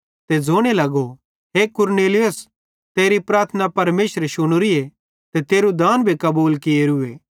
ते ज़ोने लगो हे कुरनेलियुस तेरी प्रार्थना परमेशरे शुनोरीए ते तेरू दान भी कबूल कियोरूए